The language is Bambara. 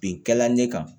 Bin kɛla ne kan